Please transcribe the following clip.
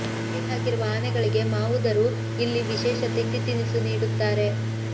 ಮರಿ ಹಾಕಿರುವ ಆನೆಗಳಿಗೆ ಮಾವುದರು ಇಲ್ಲಿ ವಿಶೇಷ ತಿಂಡಿ ತಿನಿಸು ನೀಡುತ್ತಾರೆ